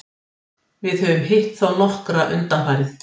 Við höfum hitt á þá nokkra undanfarið.